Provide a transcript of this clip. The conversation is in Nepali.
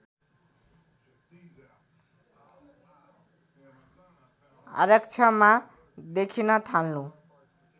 आरक्षमा देखिन थाल्नु